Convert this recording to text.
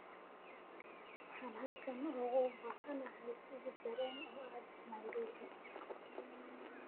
waxaan halkan uga baahanahay tigidh tareen oo aad nairobi